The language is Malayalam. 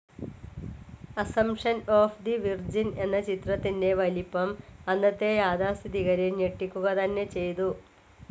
അസംപ്ഷൻ ഓഫ്‌ തെ വിർജിൻ എന്ന ചിത്രത്തിൻ്റെ വലിപ്പം അന്നത്തെ യാഥാസ്ഥിതികരെ ഞെട്ടിക്കുക തന്നെ ചെയ്ചു.